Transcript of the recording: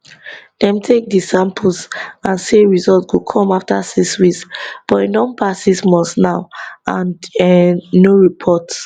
dem take di samples and say result go come afta six weeks but e don pass six months now and um no report